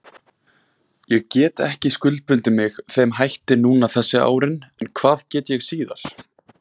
Ég get ekki skuldbundið mig þeim hætti núna þessi árin en hvað get ég síðar?